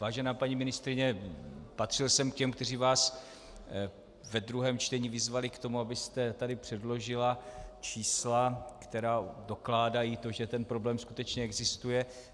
Vážená paní ministryně, patřil jsem k těm, kteří vás ve druhém čtení vyzvali k tomu, abyste tady předložila čísla, která dokládají to, že ten problém skutečně existuje.